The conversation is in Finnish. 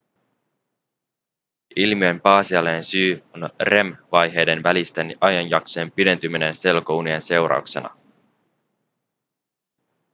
ilmiön pääasiallinen syy on rem-vaiheiden välisten ajanjaksojen pidentyminen selkounien seurauksena